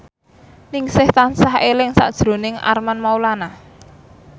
Ningsih tansah eling sakjroning Armand Maulana